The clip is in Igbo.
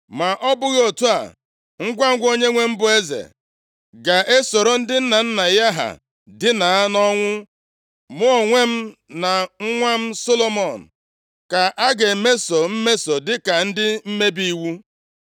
Ma ọ bụghị otu a, ngwangwa onyenwe m bụ eze ga-esoro ndị nna nna ya ha dina nʼọnwụ, mụ onwe m na nwa m Solomọn ka a ga-emeso mmeso dịka ndị mmebi iwu.”